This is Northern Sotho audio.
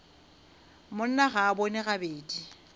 monna ga a bone gabedi